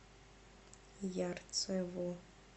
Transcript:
ярцево